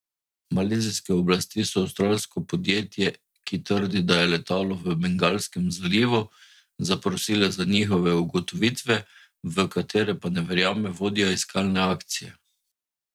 Malezijske oblasti so avstralsko podjetje, ki trdi, da je letalo v Bengalskem zalivu, zaprosile za njihove ugotovitve, v katere pa ne verjame vodja iskalne akcije.